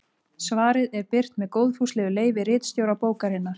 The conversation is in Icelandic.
Svarið er birt með góðfúslegu leyfi ritstjóra bókarinnar.